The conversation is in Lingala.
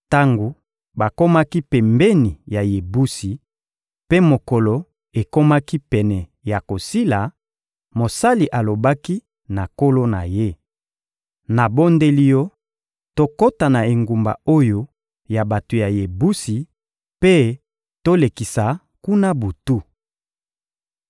Tango bakomaki pembeni ya Yebusi mpe mokolo ekomaki pene ya kosila, mosali alobaki na nkolo na ye: — Nabondeli yo, tokota na engumba oyo ya bato ya Yebusi mpe tolekisa kuna butu.